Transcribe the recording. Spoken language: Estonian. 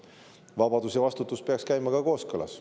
Vabadus ja vastutus peaks käima kooskõlas.